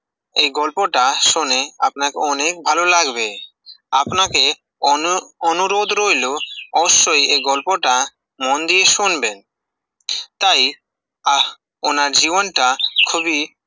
এই গল্প টা শুনে, আপনাকে অনেক ভালো লাগবে, আপনাকে অনু-অনুরোধ রইল, অবসশই এই গল্প টা মন দিয়ে শুনবেন, তাই আহ ওনার জীবন টা, খুবি